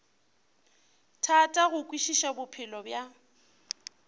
thata go kwešiša bophelo bja